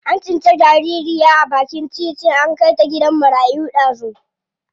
An tsinci jaririya a bakin titi an kai ta gidan marayu dazu.